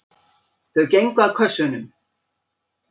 Þau gengu að kössunum.